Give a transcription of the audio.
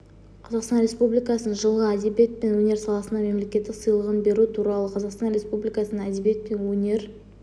қазақстан республикасының жылғы әдебиет пен өнер саласындағы мемлекеттік сыйлығын беру туралы қазақстан республикасының әдебиет пен өнер